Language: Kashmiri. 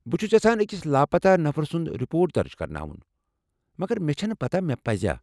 بہٕ چھس یژھان أکس لاپتہ نفرٕ سُنٛد رپورٹ درٕج کرناوُن ، مگر مےٚ چھنہٕ پتاہ مےٚ پزیٛا۔